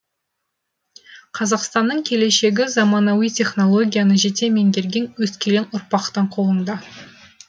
қазақстанның келешегі заманауи технологияны жете меңгерген өскелең ұрпақтың қолында